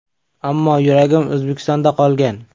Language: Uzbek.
Ammo yuragim O‘zbekistonda qolgan.